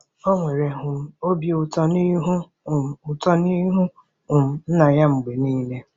O nwere um obi ụtọ n'ihu um ụtọ n'ihu um Nna ya mgbe niile.